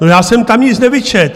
No, já jsem tam nic nevyčetl.